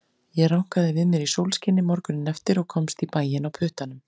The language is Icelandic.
Ég rankaði við mér í sólskini morguninn eftir og komst í bæinn á puttanum.